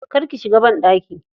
Kar ki shiga banɗaki.